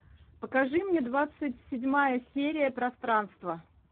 покажи мне двадцать седьмая серия пространство